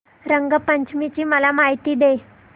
रंग पंचमी ची मला माहिती दे